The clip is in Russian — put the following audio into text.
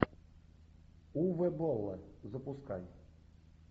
уве болла запускай